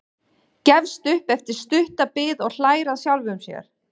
Gefst upp eftir stutta bið og hlær að sjálfum sér.